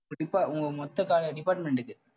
இப்ப depa~ உங்~ உங்க மொத்த col~ department க்கு